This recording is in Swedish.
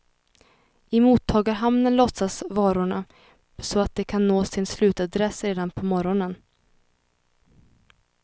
I mottagarhamnen lossas varorna så att de kan nå sin slutadress redan på morgonen.